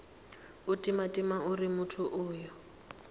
u timatima uri muthu uyo